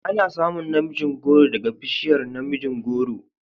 Ana samun na mijin goro daga bishiyar namijin goro